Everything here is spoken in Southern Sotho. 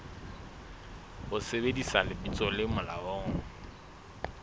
ho sebedisa lebitso le molaong